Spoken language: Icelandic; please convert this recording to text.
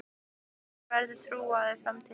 Engum þeirra verður trúað í framtíðinni.